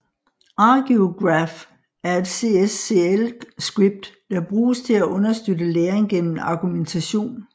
ArgueGraph er et CSCL script der bruges til at understøtte læring gennem argumentation